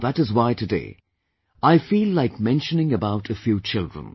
And that is why today, I feel like mentioning about a few children